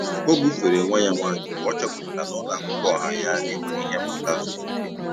Ọ bufere nwa ya nwanyị mgbe ọ chọpụtara na ụlọ akwụkwọ ọha ya enweghị ihe mmụta zuru oke.